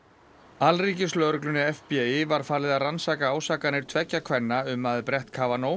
alríkislögreglunni var falið að rannsaka ásakanir tveggja kvenna um að brett